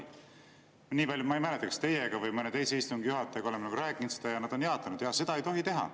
Nii palju, kui me oleme sellest rääkinud – ma ei mäleta, kas teiega või mõne teise istungi juhatajaga –, on öeldud: jaa, seda ei tohi teha.